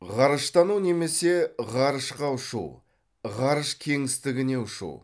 ғарыштану немесе ғарышқа ұшу ғарыш кеңістігіне ұшу